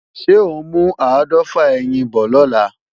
Ṣé ò ń mú áàdọ́fà ẹyin bọ̀ lọ́la?